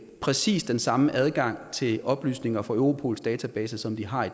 præcis den samme adgang til oplysninger fra europols database som de har